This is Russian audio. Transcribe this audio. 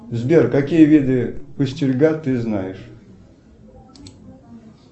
сбер какие виды пустельга ты знаешь